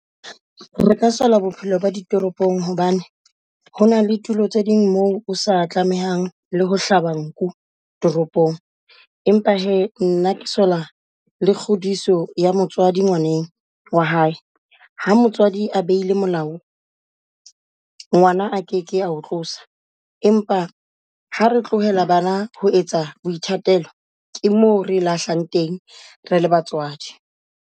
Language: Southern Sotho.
Re ka saoa bophelo ba di toropong hobane hona le tulo tse ding moo o sa tlamehang le ho hlaba nku toropong. Empa hee nna ke sola le kgodiso ya motswadi ngwaneno wa hae. Ha motswadi a beile molao ngwana a keke a ho tlosa, empa ha re tlohela bana ho etsa boithatelo ke mo re lahlang teng re le batswadi.